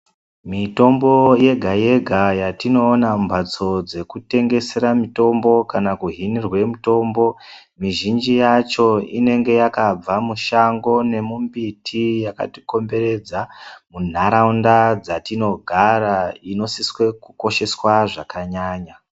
Mitombo yega yega yetinoona mumhatso dzekutengesera mitombo kana kuhinirwe mitombo mizhinji yacho inenge yakabva mushango nemumbiti yakatikomberedza munharaunda dzatinogara inosiswe kukosheswa zvakanyanya.